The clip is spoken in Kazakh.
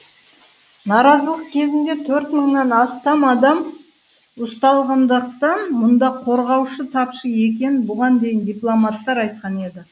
наразылық кезінде төрт мыңнан астам адам ұсталғандықтан мұнда қорғаушы тапшы екенін бұған дейін дипломаттар айтқан еді